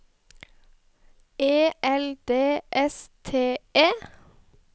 E L D S T E